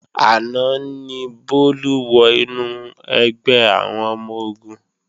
Àná ni Bólú wọ inú ẹgbẹ́ àwọn ọmọ-ogun